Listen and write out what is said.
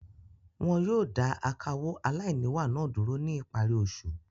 Wọn yóò dà akawó aláìníwà náà dúró ní ìparí oṣù.